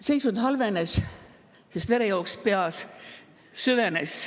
Seisund halvenes, sest verejooks peas süvenes.